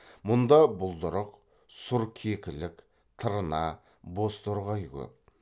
мұнда бұлдырық сұр кекілік тырна бозторғай көп